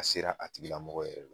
A sera a tigila mɔgɔ yɛrɛ la